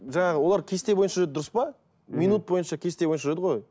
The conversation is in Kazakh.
жаңағы олар кесте бойынша дұрыс па минут бойынша кесте бойынша жүреді ғой